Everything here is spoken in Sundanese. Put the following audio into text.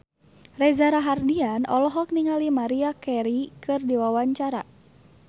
Reza Rahardian olohok ningali Maria Carey keur diwawancara